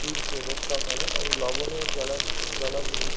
তীরকে রক্ষা করে এবং লবণের জলা জলাগুলি